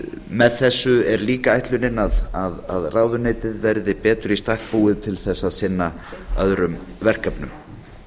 með þessu er líka ætlunin að ráðuneytið verði betur í stakk búið til þess að sinna öðrum verkefnum